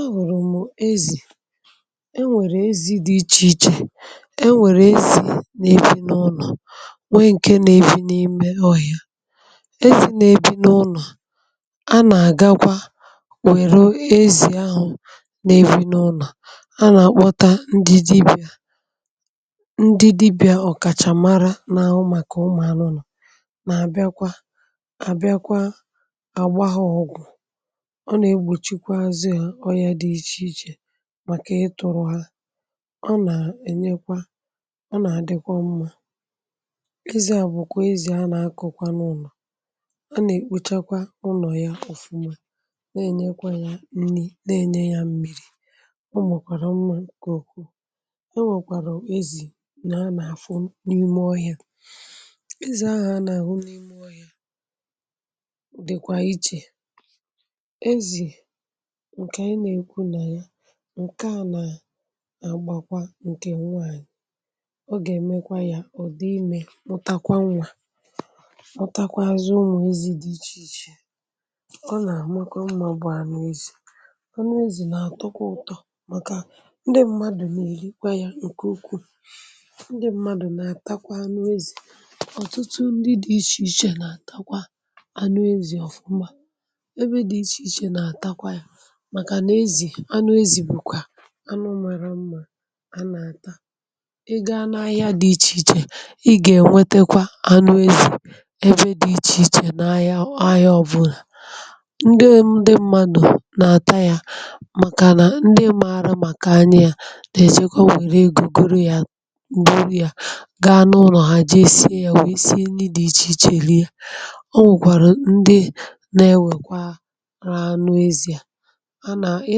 a wùrù m ezì e nwèrè ezi̇ dị ichè ichè e nwèrè ezì na-ebi n’ụlọ̀ nwee ǹke na-ebi̇ n’ime ọhịa ezì na-ebi n’ụlọ̀ a nà-àgakwa wère ezì ahụ̀ na-ebi n’ụlọ̀ a nà-àkpọta ndị dibịà ndị dibịà ọ̀kàchà mara n’àhụ màkà ụmụ̀ anụ nà nà-àbịakwa àbịakwa àgbaghị ọ̀gwụ̀ màkà ị tụ̀rụ̀ ha ọ nà-ènyekwa ọ nà-àdịkwa mmȧ ịzị̇ à bụ̀kwà ezì a nà-akụ̀kwa n’ụlọ̀ a nà-èkpùchakwa ụnọ̀ yà ọ̀fụma na-ènyekwa yà nni̇ na-ènye yà mmiri̇ ụmụ̀kwàrà mmȧ kà òkù na wèkwàrà ezì nà-a nà-àfụ n’ime ọhịȧ ịzị̀ ahụ̀ a nà-àhụ n’ime ọhịȧ dị̀kwà ichè ǹkè anyi nà-èkwu nà ya ǹkeànà nà-àgbakwa ǹkè nwaànyị̀ ọ gà-èmekwa ya ọ̀dị imė ọ̀takwa nlà ọ takwa azụ ụmụ̀ ezi̇ dị ichè ichè ọ nà-àmọkwa mmȧ bụ̀ ànụ ezì anụ ezì nà-àtọkwa ụtọ̇ màkà ndị mmadụ̀ nà-èrikwa ya ǹkè ukwuu ndị mmadụ̀ nà-àtakwa anụ ezì ọ̀tụtụ ndị dị̇ ichè ichè nà-àtakwa anụ ezì ọ̀fụma ebe dị̇ ichè ichè nà-àtakwa ya màkà nà ezì anụ ezì bùkwà anụ ụmụ̀rụ mmȧ a nà-àta ị gȧ anụ ahịa dị ichè ichè ị gà-ènwetakwa anụ ezì ebe dị̇ ichè ichè nà-ahịa ahịa ọbụlà ndị ndị mmadụ̀ nà-àta yȧ màkà nà ndị mààrà màkà anya yȧ nà-èchekwa nwèrè egȯ goro yȧ goro yȧ gaa n’ụlọ̀ ha jee sie yȧ wèe sie ndị dị ichè ichè rie o nwèkwàrà ndị na-enwèkwa rahu anụ ezi̇ à ị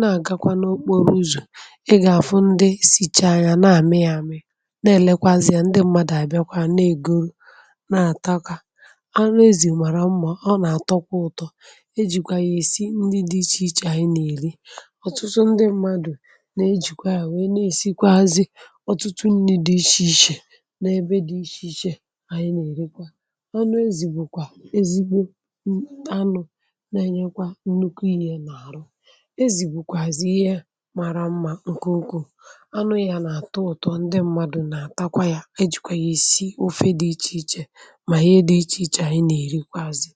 na-agakwa n’okporo ụzọ̀ ị gà-àfụ ndị sicha anya na-àme ya àme na-èlekwazị ya ndị mmadù àbịakwa na-ègoro na-àtakwa anụ ezì màrà mmà ọ nà-àtọkwa ụ̀tọ ejìkwà gị̀ esi ndị dị ichè ichè anyị nà-èri ọ̀tụtụ ndị mmadù na-ejìkwa ya wee na-èsikwa azị ọtụtụ ndị dị ichè ichè n’ebe dị ichè ichè anyị nà-èrikwa ọnụ ezì bụ̀kwà ezigbo anụ̇ na-enyekwa nnukwu ihė nà àrụ màra mmȧ ǹkè okwu anụ ya nà àtọ ụtụ̀ ndị m̀madụ̀ nà-àtakwa ya ejìkwè yà ìsii ofe dị ichèichè mà ihe dị ichèichè ànyị nà-èrikwazị.